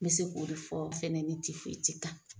N bɛ se k'o de fɔ ni kan.